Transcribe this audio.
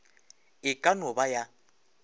e ka no ba ya